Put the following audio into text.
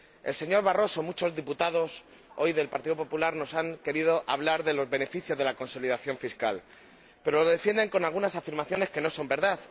El señor Barroso y muchos diputados hoy del Partido Popular nos han querido hablar de los beneficios de la consolidación fiscal, pero lo defienden con algunas afirmaciones que no son verdad.